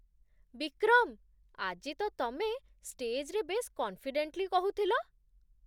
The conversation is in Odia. ବିକ୍ରମ! ଆଜି ତ ତମେ ଷ୍ଟେଜ୍‌ରେ ବେଶ୍ କନ୍ଫିଡେଣ୍ଟଲି କହୁଥିଲ!